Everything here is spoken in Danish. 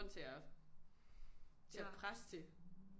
Til at til at presse det